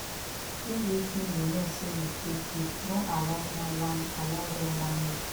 giv wetin yu no sey yu fit giv no allow dem whine allow dem whine you